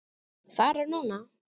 Fara núna?